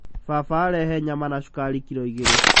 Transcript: Baba arehe nyama na cukari kiro igeerĩ.